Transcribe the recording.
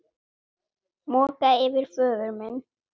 Moka yfir föður minn.